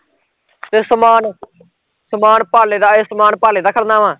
ਤੇ ਸਮਾਨ ਸਮਾਨ ਪਾਲੇ ਦਾ ਐ, ਸਮਾਨ ਪਾਲੇ ਦਾ ਖੜਨਾ ਵਾ